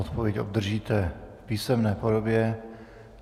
Odpověď obdržíte v písemné podobě.